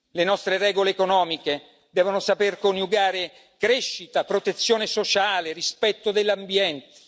Le nostre regole economiche devono saper coniugare crescita, protezione sociale, rispetto dell'ambiente.